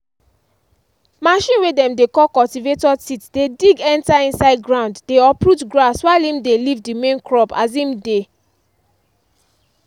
machine way dem dey call cultivator teeth dey dig enter inside ground dey uproot grass while em dey leave the main crop as em dey.